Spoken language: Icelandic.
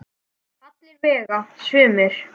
Alla vega sumir.